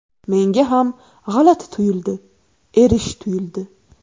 Menga ham g‘alati tuyuldi, erish tuyuldi.